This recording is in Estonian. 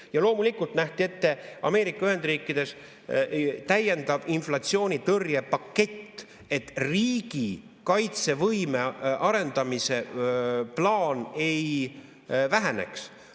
Ja loomulikult nähti ette Ameerika Ühendriikides täiendav inflatsioonitõrjepakett, et riigi kaitsevõime arendamise plaan ei väheneks.